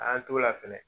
An y'an t'o la fɛnɛ